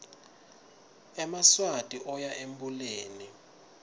emaswati oya embuleni